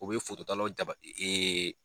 O bɛ fototalaw jaba ee